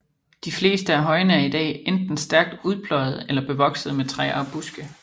De fleste af højene er i dag enten stærkt udpløjede eller bevoksede med træer og buske